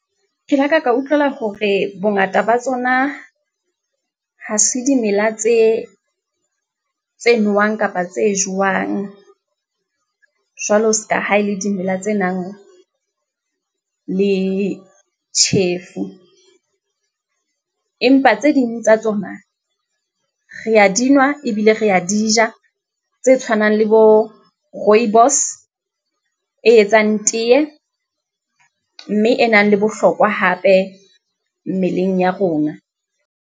Ke laka ka utlwela hore bongata ba tsona ha se dimela tse nowang kapa tse jewang jwalo ska ha e le dimela tse nang le tjhefu, empa tse ding tsa tsona re a di nwa ebile re a di ja. Tse tshwanang le bo Rooibos e etsang teye mme e nang le bohlokwa hape mmeleng ya rona.